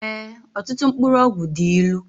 Ee ọtụtụ mkpụrụ ọgwụ dị ịlụ